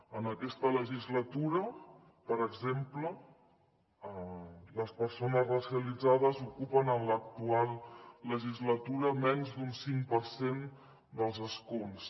en aquesta legislatura per exemple les persones racialitzades ocupen en l’actual legislatura menys d’un cinc per cent dels escons